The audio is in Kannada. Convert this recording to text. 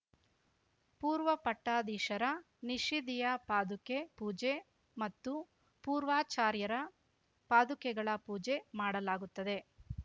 ಪೂರ್ವ ಪಟ್ಟಾಧೀಶರ ನಿಷಿದಿಯ ಪಾದುಕೆ ಪೂಜೆ ಮತ್ತು ಪೂರ್ವಾಚಾರ್ಯರ ಪಾದುಕೆಗಳ ಪೂಜೆ ಮಾಡಲಾಗುತ್ತದೆ